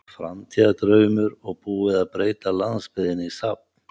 Framtíðardraumur og búið að breyta landsbyggðinni í safn.